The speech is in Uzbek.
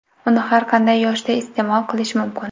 Uni har qanday yoshda iste’mol qilish mumkin.